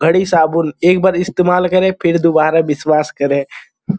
घड़ी साबुन एक बार इस्तेमाल करे फिर दुबारा विश्वास करे।